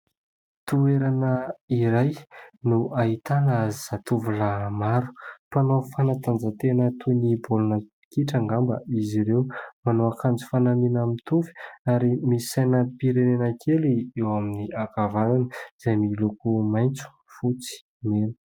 Toerana iray no ahitana zatovolahy maro ; mpanao fanatanjahantena toy ny baolina kitra ngamba izy ireo. Manao akanjo fanamiana mitovy ary misy sainam-pirenena kely eo amin'ny ankavanana, izay miloko maitso, fotsy, mena.